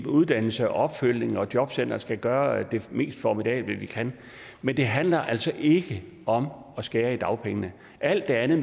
uddannelse opfølgning og at jobcentrene skal gøre det mest formidable de kan men det handler altså ikke om at skære ned på dagpengene alt det andet